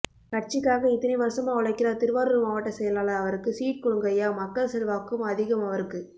கட்சிக்காக இத்தனை வருசமா உழைக்கிறார் திருவாரூர் மாவட்ட செயலாளர் அவருக்கு சீட் கொடுங்கய்யா மக்கள் செல்வாக்கும் அதிகம் அவருக்கு